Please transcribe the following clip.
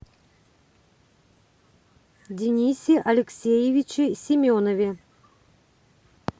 денисе алексеевиче семенове